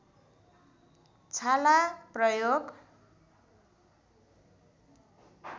छाला प्रयोग